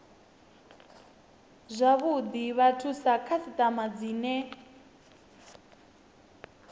zwavhuḓi vhathu sa khasiṱama dzine